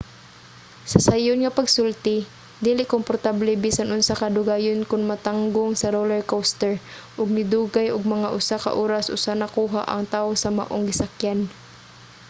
sa sayon nga pagsulti dili komportable bisan unsa kadugayon kon matanggong sa roller coaster ug nidugay ug mga usa ka oras usa nakuha ang taw sa maong gisakyan